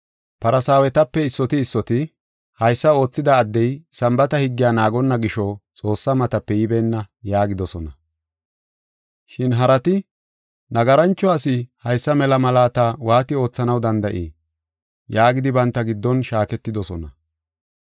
Farsaawetepe issoti issoti, “Haysa oothida addey Sambaata higgiya naagonna gisho Xoossaa matape yibeenna” yaagidosona. Shin harati, “Nagarancho asi haysa mela malaata waati oothanaw danda7ii?” yaagidi banta giddon shaaketidosona.